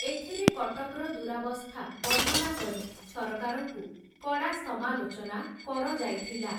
ଏଥିରେ କଟକ୍‌ର ଦୂରାବସ୍ଥା ବର୍ଣ୍ଣନା କରି, ସରକାରଙ୍କୁ କଡ଼ା ସମାଲୋଚନା କରଯାଇଥିଲା ।